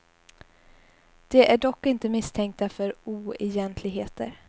De är dock inte misstänkta för oegentligheter.